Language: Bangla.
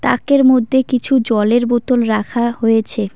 তাকের মধ্যে কিছু জলের বোতল রাখা হয়েছে।